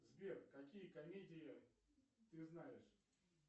сбер какие комедии ты знаешь